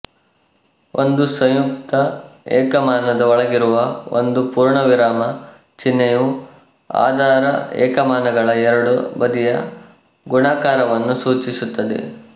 ಒಂದು ಸಂಯುಕ್ತ ಏಕಮಾನದ ಒಳಗಿರುವ ಒಂದು ಪೂರ್ಣವಿರಾಮ ಚಿಹ್ನೆಯು ಆಧಾರ ಏಕಮಾನಗಳ ಎರಡೂ ಬದಿಯ ಗುಣಾಕಾರವನ್ನು ಸೂಚಿಸುತ್ತದೆ